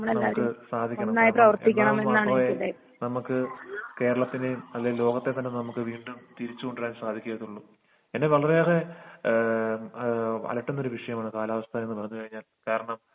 നമ്മക്ക് സാധിക്കണം എന്നാൽ മാത്രമേ നമ്മക്ക് കേരളത്തിനേം അല്ലെ ലോകത്തെ തന്നെ നമ്മുക്ക് വീണ്ടും തിരിച്ച്കൊണ്ടരാന് സാധികത്തോളു പിന്നെ വളരെ ഏറെ ഏഹ് ഏഹ് അലട്ടുന്ന ഒരു വിഷയമാണ് കാലാവസ്ഥ എന്ന് പറ അത് കഴിഞ്ഞാൽ കാരണം